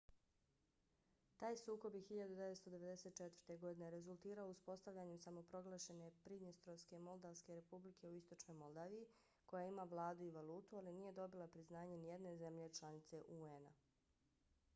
taj sukob je 1994. godine rezultirao uspostavljanjem samoproglašene pridnjestrovske moldavske republike u istočnoj moldaviji koja ima vladu i valutu ali nije dobila priznanje nijedne zemlje članice un-a